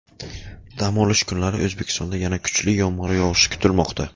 Dam olish kunlari O‘zbekistonda yana kuchli yomg‘ir yog‘ishi kutilmoqda.